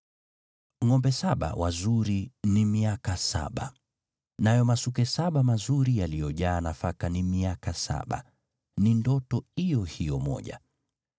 Ngʼombe saba wazuri ni miaka saba, nayo masuke saba mazuri yaliyojaa nafaka ni miaka saba, ni ndoto iyo hiyo moja.